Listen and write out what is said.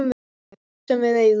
Bara allt sem við eigum.